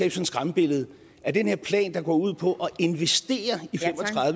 et skræmmebillede af at den her plan der går ud på at investere i fem